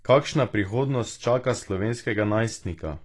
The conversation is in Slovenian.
Kakšna prihodnost čaka slovenskega najstnika?